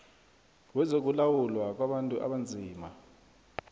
wezokulawulwa kwabantu abanzima